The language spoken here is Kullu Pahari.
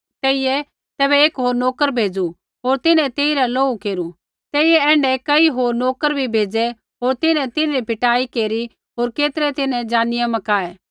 तेइयै तैबै एक होर नोकर भेज़ू होर तिन्हैं तेइरा लोहू केरू तेइयै ऐण्ढै कई होर नोकर बी भेज़ै होर तिन्हैं तिन्हरी पिटाई केरी होर केतरै तिन्हैं ज़ानियै मकाऐ